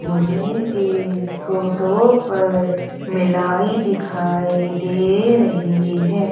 मुझे इस फोटो पर मेलाई दिखाई दे रही है।